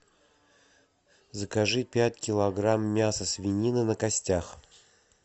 закажи пять килограмм мяса свинины на костях